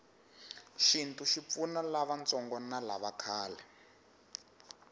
shintu shipfuna lavatsongo navakhale